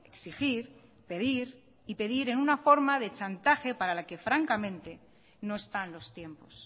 exigir pedir y pedir en una forma de chantaje para la que francamente no están los tiempos